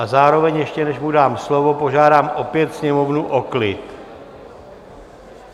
A zároveň, ještě než mu dám slovo, požádám opět Sněmovnu o klid!